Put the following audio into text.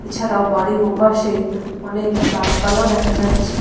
এছাড়াও বাড়ির ওপাশে অনেক গাছপালাও দেখা যাচ্ছে।